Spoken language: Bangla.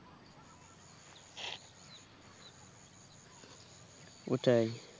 ওটাই